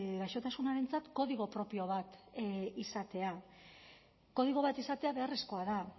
gaixotasunarentzat kodigo propio bat izatea kodigo bat izatea beharrezkoa da